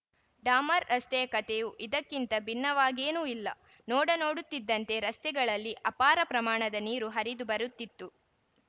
ಡಾಮರ್ ರಸ್ತೆಯ ಕಥೆಯೂ ಇದಕ್ಕಿಂತ ಭಿನ್ನವಾಗೇನೂ ಇಲ್ಲ ನೋಡ ನೋಡುತ್ತಿದ್ದಂತೆ ರಸ್ತೆಗಳಲ್ಲಿ ಅಪಾರ ಪ್ರಮಾಣದ ನೀರು ಹರಿದು ಬರುತ್ತಿತ್ತು